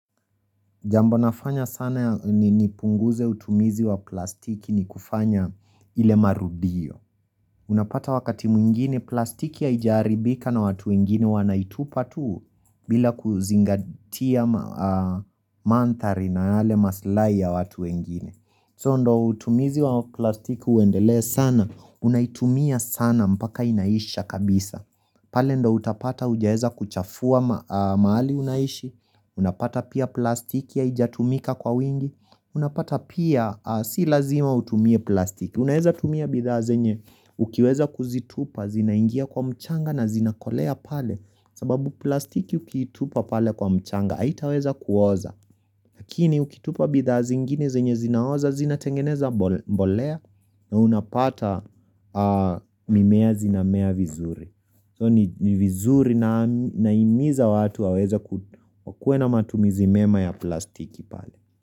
Jambo nafanya sana ni nipunguze utumizi wa plastiki ni kufanya ile marudio Unapata wakati mwingine plastiki haija haribika na watu wengine wanaitupa tu bila kuzingatia mandhari na yale masilahi ya watu wengine. So ndio utumizi wa plastiki uendelee sana unaitumia sana mpaka inaisha kabisa pale ndio utapata hujaweza kuchafua mahali unaishi Unapata pia plastiki haijatumika kwa wingi unapata pia si lazima utumie plastiki. Unaweza tumia bidhaa zenye ukiweza kuzitupa zinaingia kwa mchanga na zinakolea pale sababu plastiki ukiitupa pale kwa mchanga haitaweza kuoza Lakini ukitupa bidhaa zingine zenye zinaoza zina tengeneza mbolea na unapata mimea zinamea vizuri. So ni vizuri na nahimiza watu waweza kukue na matumizi mema ya plastiki pale.